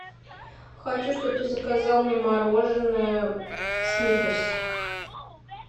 хочу что бы ты заказал мне мороженое сникерс